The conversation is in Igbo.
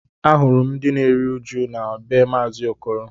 Ahụrụ m ndị na-eru uju na be maazi Okoro